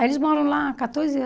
Aí eles moram lá há quatorze